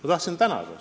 Ma tahtsin tänada.